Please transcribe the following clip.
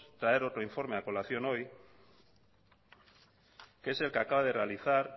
traer otro informe a colación hoy que es el que acaba de realizar